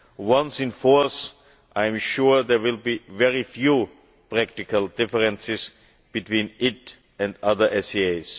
Once in force, I am sure there will be very few practical differences between it and other SAAs.